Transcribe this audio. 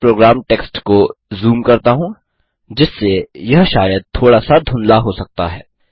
मैं program text को zoom करता हूँ जिससे यह शायद थोड़ा सा धुंधला हो सकता है